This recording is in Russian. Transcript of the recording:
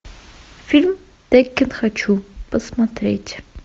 фильм текин хочу посмотреть